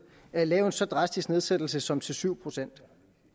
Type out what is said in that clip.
at lave en så drastisk nedsættelse som til syv procent